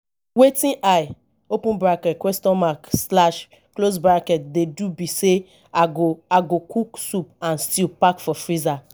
wetin i open bracket question mark slash close bracket dey do be say i go i go cook soup and stew pack for freezer